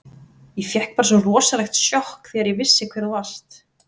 Ég fékk bara svo rosalegt sjokk þegar ég vissi hver þú varst.